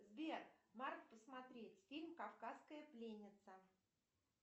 сбер марк посмотреть фильм кавказская пленница